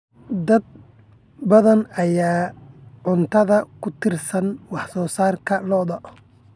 Dad badan ayaa cuntada ku tiirsan wax soo saarka lo'da.